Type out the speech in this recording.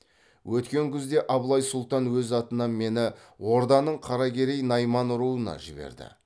өткен күзде абылай сұлтан өз атынан мені орданың қаракерей найман руына жіберді